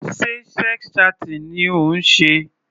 Sé sex chatting ni ó ń ṣe?